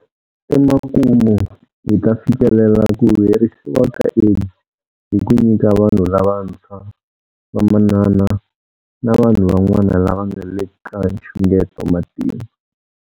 Emakumu, hi ta fikelela ku herisiwa ka AIDS hi ku nyika vanhu lavantshwa, vamanana na vanhu van'wana lava nga le ka nxungeto matimba.